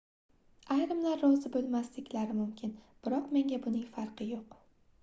ayrimlar rozi boʻlmasliklari mumkin biroq menga buning farqi yoʻq